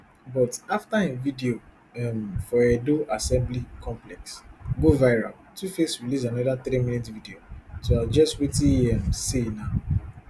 but afta im video um for edo assembly complex go viral tuface release anoda three minutes video to address wetin e um say na